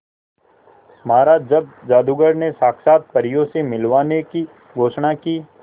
महाराज जब जादूगर ने साक्षात परियों से मिलवाने की घोषणा की